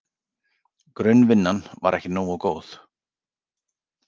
Grunnvinnan var ekki nógu góð.